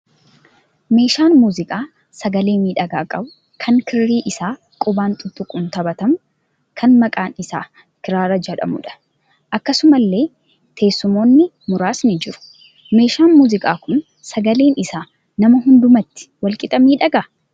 Meeshaan muuziqaa sagalee miidhagaa qabu kan kirrii isaa quban tutuquun taphatamu kan maqaan isaa kiraara jedhamudha. Akkasumallee teessumoonni muraasni jiru. Meeshaan muuziqaa kun sagaleen isaa nama hundumaatti wal qixa miidhagaa?